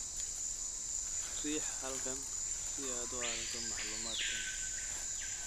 Riix halkan si aad u aragto macluumaadkan.